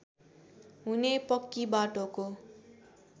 हुने पक्की बाटोको